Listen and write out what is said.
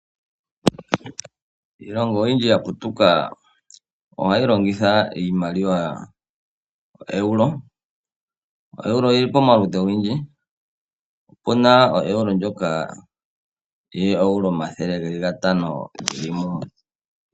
Iilongo oyindji ya putuka ohayi longitha iimaliwa yoeuro. Euro oyili pamaludhi ogendji, opuna oeuro ndjoka yoo euro500 geli mumwe.